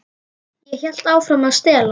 Ég hélt áfram að stela.